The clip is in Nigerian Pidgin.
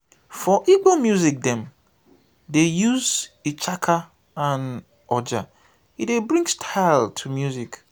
for igbo music dem dey use ichaka and oja e dey bring style to di music.